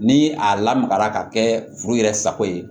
Ni a lamagara ka kɛ furu yɛrɛ sago ye